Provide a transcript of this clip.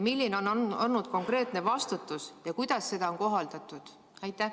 Milline on olnud konkreetne vastutus ja kuidas seda on kohaldatud?